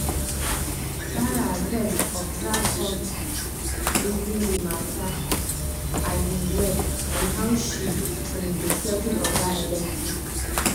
sarah fes observe come reason d matter um well on how she um go settle oga electric